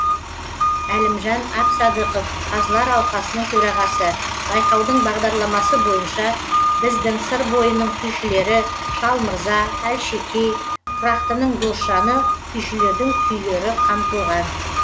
әлімжан әбсадықов қазылар алқасының төрағасы байқаудың бағдарламасы бойынша біздің сыр бойының күйшілері шал мырза әлшекей құрақтының досжаны күйшілердің күйлері қамтылған